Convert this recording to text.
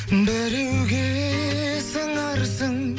біреуге сыңарсың